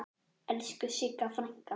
Elsku Sigga frænka.